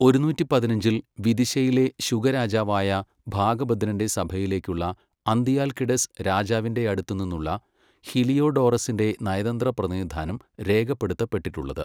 ഒരുനൂറ്റി പതിനഞ്ചിൽ, വിദിശയിലെ ശുഗ രാജാവായ ഭാഗഭദ്രൻ്റെ സഭയിലേക്കുള്ള അന്തിയാൽകിഡസ് രാജാവിൻ്റെ അടുത്തുനിന്നുള്ള ഹിലിയോഡോറസിൻ്റെ നയതന്ത്ര പ്രതിനിധാനം രേഖപ്പെടുത്തപ്പെട്ടിട്ടുള്ളത്.